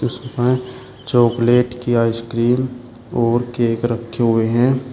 उसके पास चॉकलेट की आइसक्रीम और केक रखे हुए हैं।